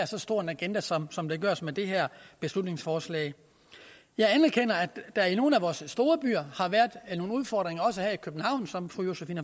så stor en agenda som som der laves med det her beslutningsforslag jeg anerkender at der i nogle af vore storbyer har været nogle udfordringer også her i københavn som fru josephine